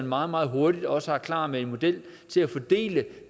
meget meget hurtigt også er klar med en model til at fordele